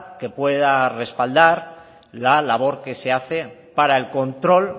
que pueda respaldar la labor que se hace para el control